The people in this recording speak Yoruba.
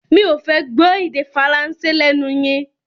Mi ò fẹ́ gbọ́ èdè Faransé lẹ́nu yín!